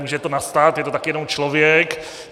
Může to nastat, je to také jenom člověk.